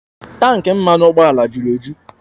Tanki mmanụ ụgbọala juru eju